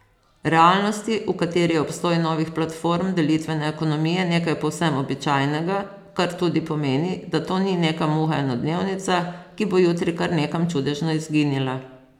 Realnosti, v kateri je obstoj novih platform delitvene ekonomije nekaj povsem običajnega, kar tudi pomeni, da to ni neka muha enodnevnica, ki bo jutri kar nekam čudežno izginila.